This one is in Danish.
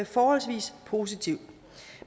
forholdsvis positivt